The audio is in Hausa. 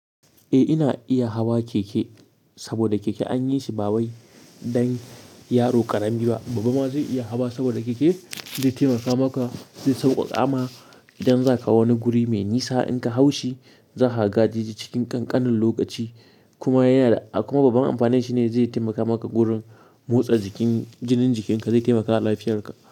Eh ina iya hawa keke saboda keke an yi shi ba wai dan yaro ƙarami ba. Babba ma zai iya hawa saboda keke zai taimaka maka zai sauƙaƙa ma idan zaka wani guri mai nisa in ka haushi zakaga je cikin ƙanƙanin lokaci kuma yana da kuma babban amfanin shi ne zai taimaka maka wurin motsa jikin jinin jikinka zai taimakama lafiyan ka.